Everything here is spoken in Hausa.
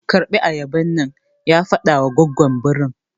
Karɓi ayaban nan! ya faɗawa goggon birin.